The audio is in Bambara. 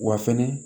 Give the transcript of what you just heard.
Wa fɛnɛ